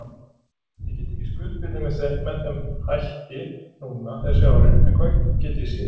Ég get ekki skuldbundið mig þeim hætti núna þessi árin en hvað get ég síðar?